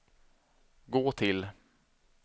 gå till